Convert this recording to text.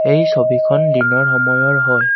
এই ছবিখন দিনৰ সময়ৰ হয়।